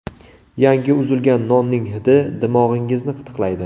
Yangi uzilgan nonning hidi dimog‘ingizni qitiqlaydi.